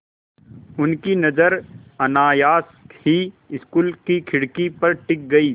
उनकी नज़र अनायास ही स्कूल की खिड़की पर टिक गई